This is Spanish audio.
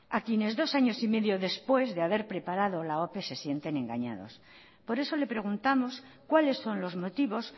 a quienes dos años y medio después de haber preparado la ope se sienten engañados por eso le preguntamos cuáles son los motivos